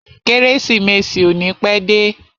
Kérésìmesì ò ní pẹ́ dé.